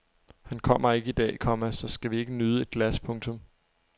Han kommer ikke i dag, komma så skal vi ikke nyde et glas. punktum